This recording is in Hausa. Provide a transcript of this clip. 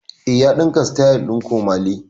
Eh, ya ɗinka sityl ɗin komole